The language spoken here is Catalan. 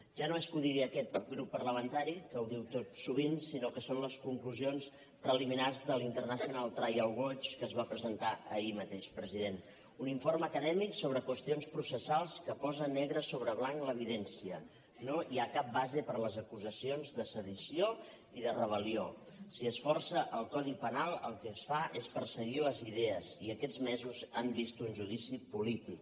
ja no és que ho digui aquest grup parlamentari que ho diu tot sovint sinó que són les conclusions preliminars de l’international trial watch que es van presentar ahir mateix president un informe acadèmic sobre qüestions processals que posa negre sobre blanc l’evidència no hi ha cap base per a les acusacions de sedició i de rebel·lió si es força el codi penal el que es fa és perseguir les idees i aquests mesos han vist un judici polític